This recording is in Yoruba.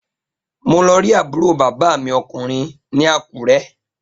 Mo lọ rí àbúrò bàbá mi ọkùnrin ní Àkúrẹ́